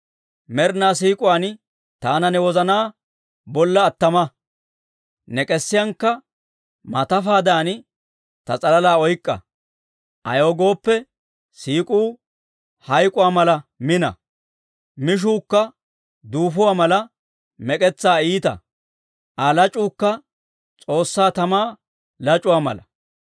Med'inaa siik'uwaan taana ne wozanaa bolla attama; ne k'esiyankka maatafaadan, ta s'alalaa oyk'k'a. Ayaw gooppe, siik'uu hayk'k'uwaa mala mina; mishuukka duufuwaa mala mek'etsaa iita; Aa lac'uukka S'oossaa tamaa lac'uwaa mala.